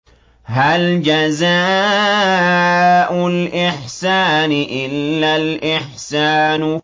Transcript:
هَلْ جَزَاءُ الْإِحْسَانِ إِلَّا الْإِحْسَانُ